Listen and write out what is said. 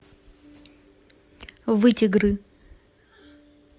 вытегры